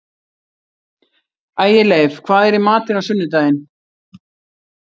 Ægileif, hvað er í matinn á sunnudaginn?